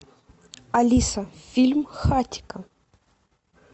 алиса фильм хатико